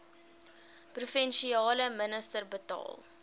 provinsiale minister bepaal